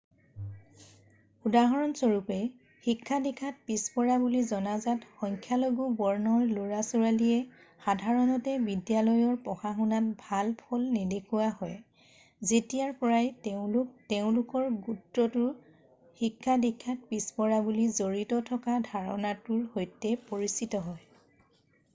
উদাহৰণ স্বৰূপে শিক্ষা-দীক্ষাত পিছপৰা বুলি জনজাত সংখ্যালঘূ বৰ্ণৰ ল'ৰা ছোৱালীয়ে সাধাৰণতে বিদ্যালয়ৰ পঢ়া-শুনাত ভাল ফল নেদেখুওৱা হয় যেতিয়াৰ পৰাই তেওঁলোক তেওঁলোকৰ গোত্ৰটো শিক্ষা-দীক্ষাত পিছপৰা বুলি জড়িত থকা ধাৰণাটোৰ সৈতে পৰিচিত হয়